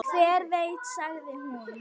Hver veit sagði hún.